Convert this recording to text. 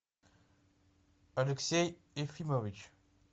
алексей ефимович